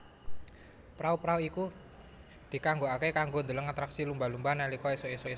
Prau prau iku dikanggokake kanggo ndheleng atraksi lumba lumba nalika esuk esuk